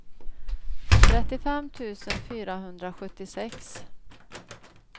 trettiofem tusen fyrahundrasjuttiosex